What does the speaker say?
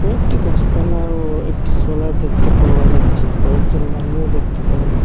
কয়েকটি গাছপালা ও একটি সোলার দেখতে পাওয়া যাচ্ছে কয়েকজন মানুও দেখতে পাওয়া যা--